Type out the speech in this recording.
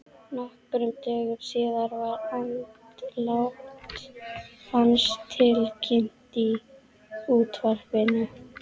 Nokkrum dögum síðar var andlát hans tilkynnt í útvarpinu.